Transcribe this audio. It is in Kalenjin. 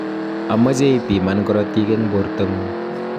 amache ipiman korotik eng borto ngung